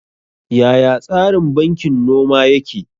Yaya tsarin bankin noma yake?